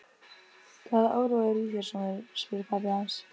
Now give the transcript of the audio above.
Hvaða órói er í þér, sonur? spurði pabbi hans.